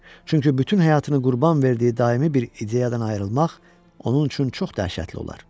Çünki bütün həyatını qurban verdiyi daimi bir ideyadan ayrılmaq onun üçün çox dəhşətli olar.